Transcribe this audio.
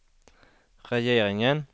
regeringen